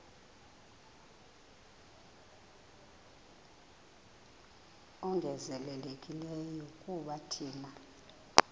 ongezelelekileyo kuba thina